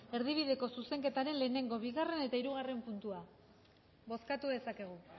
erdibideko zuzenketaren lehengo bigarren eta hirugarren puntua bozkatu dezakegu